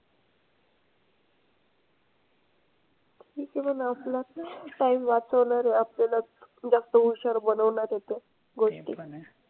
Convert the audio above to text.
ठीक आहे पण आपला time वाचवणार आहे. आपल्याला जास्त हुशार बनवणार आहे तो. गोष्टी.